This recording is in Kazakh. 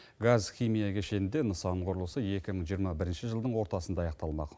газ химия кешенінде нысан құрылысы екі мың жиырма бірінші жылдың ортасында аяқталмақ